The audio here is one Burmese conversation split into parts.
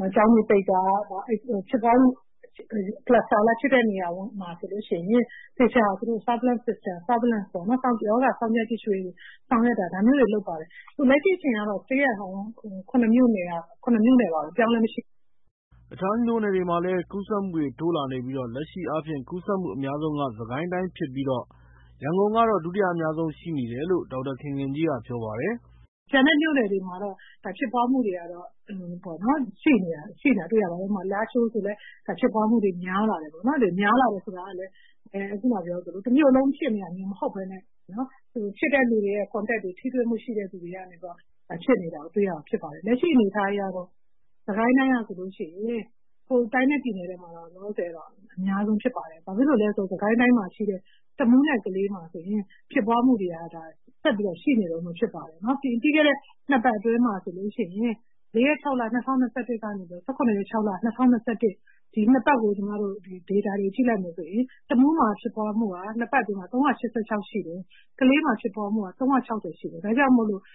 ၊ ကျောင်းတွေပိတ်တာ၊ ရောဂါဖြစ်ပွားတဲ့ နေရာတွေမှာ သေချာ ရောဂါစောင့်ကြည့်ဆောင်ရွက်တာ ဒါမျိုးတွေ လုပ်ပါတယ်။ လက်ရှိအချိန်ကတော့ Stay at Home ၇ မြို့နယ်က ၇ မြို့နယ်ပါပဲ၊ အပြောင်းအလဲမရှိပါဘူး။” တခြားမြို့နယ်တွေမှာလည်း ကူးစက်မှုတိုးလာနေပြီး လက်ရှိအားဖြင့် ကူးစက်မှုအများဆုံးက စစ်ကိုင်းတိုင်းဖြစ်ပြီးတော့ ရန်ကုန်ကတော့ ဒုတိယအများဆုံး ရှိနေတယ်လို့ ဒေါက်တာခင်ခင်ကြီးက ပြောပါ တယ်။ “ကျန်တဲ့မြို့နယ်တွေမှာတော့ ရောဂါဖြစ်ပွားမှု များလာတာကို တွေ့ရပါတယ်။ ဥပမာ လားရှိုးဆိုရင်လည်း ဖြစ်ပွားမှုတွေ များလာတယ်ပေါ့နော်။ များလာတယ်ဆိုပေမယ့်လည်း ခုနကပြောသလို တမြို့လုံးဖြစ်နေတာ မျိုးမဟုတ်ဘဲနဲ့ ဖြစ်တဲ့သူတွေနဲ့ contacts တွေ ထိတွေ့မှုရှိတဲ့သူတွေကနေပြီးတော့ ဖြစ်နေတာတွေ့ရတယ်။ လက်ရှိအနေအထားကတော့ စစ်ကိုင်းတိုင်းကဆိုရင် တိုင်းနဲ့ ပြည်နယ်ထဲမှာမှ လောလောဆယ် အများဆုံးဖြစ်ပါတယ်။ ဘာဖြစ်လို့လဲဆိုတော့ စစ်ကိုင်းတိုင်းမှာရှိတဲ့ တမူးနဲ့ ကလေးမှာဆိုရင် ဖြစ်ပွားမှုတွေ က ဆက်ပြီးတော့ ရှိနေတုန်းပဲ ဖြစ်ပါတယ်။ ပြီးခဲ့တဲ့ နှစ်ပတ်အတွင်းမှာ ဆိုလို့ရှိရင် ၄ ရက် ၆လ ၂၀၂၁ ကနေပြီးတော့ ၁၇ ရက် ၆ လ ၂၀၂၁ ဒီနှစ်ပတ်ရဲ့ ဒေတာတွေ ကြည့်လိုက်မယ်ဆိုရင် တမူးမှာ ဖြစ်ပွားမှုက နှစ်ပတ်အတွင်းမှာ ၃၈၆ ရှိတယ်။ ကလေးမှာ ဖြစ်ပွားမှုက ၃၆၀ ရှိတယ်။ ဒါကြောင့် စစ်ကိုင်းက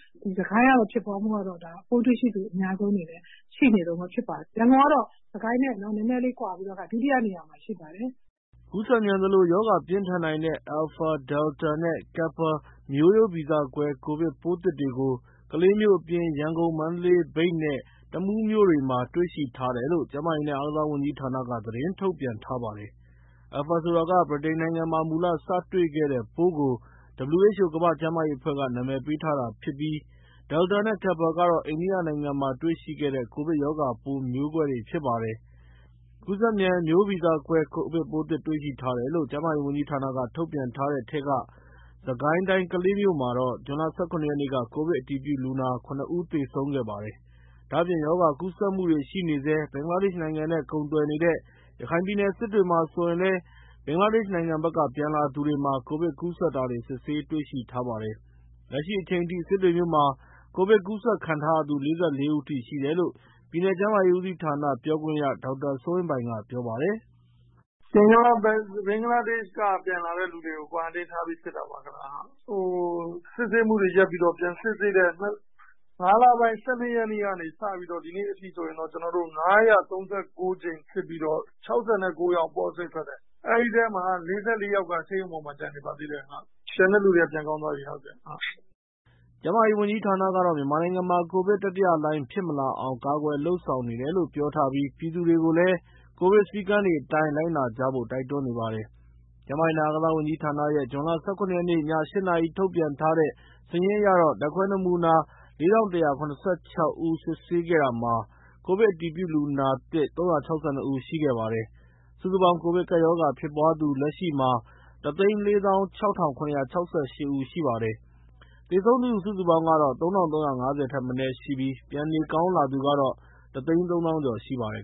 တော့ ပိုးတွေ့ ရှိသူ အများဆုံးအနေနဲ့ ရှိနေတုန်းပဲဖြစ်ပါတယ်။ ရန်ကုန်ကတော့ စစ်ကိုင်းနဲ့ နည်းနည်းလေး ကွာပြီးတော့ ဒုတိယနေရာမှာ ရှိပါတယ်။” ကူးစက်မြန်သလို ရောဂါပြင်းထန်နိုင်တဲ့ Alpha, Delta နဲ့ Kappa မျိုးရိုးဗီဇကွဲ ကိုဗစ်ပိုးသစ်တွေကို ကလေး မြို့အပြင် ရန်ကုန်၊ မန္တလေး၊ မြိတ်နဲ့ တမူးမြို့တို့မှာ တွေ့ရှိထားတယ်လို့ ကျန်းမာရေးနဲ့ အားကစားဝန်ကြီးဌာန က သတင်းထုတ်ပြန်ထားပါတယ်။ Alpha ဆိုတာက ဗြိတိန်နိုင်ငံမှာ မူလ စတွေ့ခဲ့တဲ့ပိုးကို WHO ကမ္ဘာ့ကျန်းမာရေးအဖွဲ့က နာမည်ပေးထား တာဖြစ်ပြီး Delta နဲ့ Kappa ကတော့ အိန္ဒိယနိုင်ငံမှာ တွေ့ရှိခဲ့တဲ့ ကိုဗစ်ရောဂါပိုးမျိုးကွဲတွေဖြစ်ပါတယ်။ ကူးစက်မြန် မျိုးရိုးဗီဇကွဲ ကိုဗစ်ပိုးသစ်တွေ့ရှိထားတယ်လို့ ကျန်းမာရေးဝန်ကြီးဌာနက ထုတ်ပြန်ထားတဲ့ထဲက စစ်ကိုင်းတိုင်း၊ ကလေးမြို့မှာ ဇွန်လ ၁၇ ရက်နေ့က ကိုဗစ်အတည်ပြုလူနာ ၇ ဦး သေဆုံးခဲ့ပါတယ်။ ဒါအပြင့် ရောဂါကူးစက်မှုတွေရှိနေဆဲ ဘင်္ဂလားဒေရှ့်နိုင်ငံနဲ့ ကုန်သွယ်နေတဲ့ ရခိုင်ပြည်နယ်၊ စစ်တွေမြို့မှာ ဆိုရင်လည်း ဘင်္ဂလားဒေရှ့်နိုင်ငံဘက်က ပြန်လာသူတွေမှာ ကိုဗစ်ကူးစက်တာ စစ်ဆေးတွေ့ရှိထားပါတယ်။ လက်ရှိအချိန်ထိ စစ်တွေမြို့မှာ ကိုဗစ် ကူးစက်ခံထားရသူ ၄၄ ဦးအထိ ရှိတယ်လို့ ပြည်နယ်ကျန်းမာရေး ဦးစီးဌာန ပြောခွင့်ရ ဒေါက်တာ စိုးဝင်းပိုင်ကပြောပါတယ်။ "ဘင်္ဂလားဒေရှ့်က ပြန်လာတဲ့သူတွေကို quarantine ထားပြီးစစ်တာပါ။ စစ်ဆေးမှုတွေရပ်ပြီးတော့ ပြန်စစ်ဆေးတဲ့ ၅ လပိုင်း ၁၂ ရက်နေ့ကနေစပြီးတော့ ဒီနေ့အထိဆိုရင် ၅၂၉ ကြိမ်စစ်ပြီးတော့ ၆၉ ယောက် positive ထွက်တယ်။ အဲဒီထဲမှာ ၄၄ ယောက်က ဆေးရုံပေါ်မှာ ကျန်နေပါသေးတယ်။ ကျန်တဲ့သူတွေက ပြန်ကောင်းသွားပြီ။" ကျန်းမာရေးဝန်ကြီးဌာနကတော့ မြန်မာနိုင်ငံမှာကိုဗစ် တတိယလှိုင်း ဖြစ်မလာအောင် ကာကွယ် လုပ်ဆောင်နေတယ်လို့ ပြောထားပြီး ပြည်သူတွေကိုလည်း ကိုဗစ်စည်းကမ်းတွေအတိုင်း လိုက်နာကြဖို့ တိုက်တွန်းနေပါတယ်။ ကျန်းမာရေးနဲ့ အားကစားဝန်ကြီးဌာနရဲ့ ဇွန်လ ၁၇ ရက်၊ ည ၈ နာရီ ထုတ်ပြန်ထားတဲ့ စာရင်းအရ ဓါတ်ခွဲနမူနာ ၄,၁၇၆ ဦး စစ်ဆေးတာမှာ ကိုဗစ်အတည်ပြုလူနာသစ် ၃၆၂ ဦး ရှိခဲ့ပါတယ်။ စုစုပေါင်း ကိုဗစ်ကပ်ရောဂါဖြစ်ပွားသူ လက်ရှိမှာ ၁၄၆,၇၆၈ ဦးရှိပါတယ်။ သေဆုံးသူစုစုပေါင်းကတော့ ၃,၃၅၀ ထက်မနည်းရှိပါတယ်။ ပြန်လည်နေကောင်းလာသူကတော့ ၁၃၀,၀၀၀ ကျော်ရှိပါတယ်